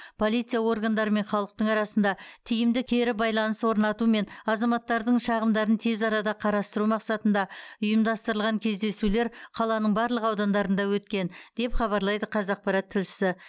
полиция органдары мен халықтың арасында тиімді кері байланыс орнату мен азаматтардың шағымдарын тез арада қарастыру мақсатында ұйымдастырылған кездесулер қаланың барлық аудандарында өткен деп хабарлайды қазақпарат тілшісі